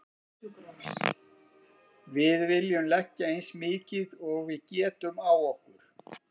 Við viljum leggja eins mikið og við getum á okkur.